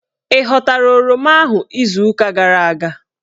Ị ghọtara oroma ahụ izuuka gara aga?